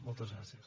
moltes gràcies